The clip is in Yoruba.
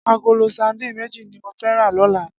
Agóló sàdín méji ni mó fè rà lòlá